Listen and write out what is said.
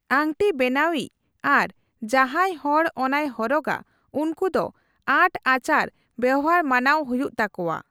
ᱟᱝᱴᱤ ᱵᱮᱱᱟᱣᱤᱡ ᱟᱨ ᱡᱟᱦᱟᱸᱭ ᱦᱚᱲ ᱚᱱᱟᱭ ᱦᱚᱨᱚᱜᱟ, ᱩᱱᱠᱩ ᱫᱚ ᱟᱸᱴ ᱟᱪᱟᱨ ᱵᱮᱣᱦᱟᱨ ᱢᱟᱱᱟᱣ ᱦᱩᱭᱩᱜ ᱛᱟᱠᱚᱣᱟ ᱾